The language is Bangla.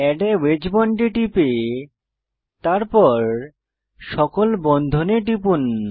এড a ওয়েজ বন্ড এ টিপে তারপর সকল বন্ধনে টিপুন